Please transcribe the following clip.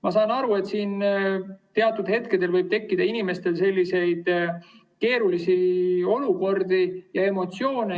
Ma saan aru, et teatud hetkedel võib tekkida inimestel keerulisi olukordi ja emotsioone.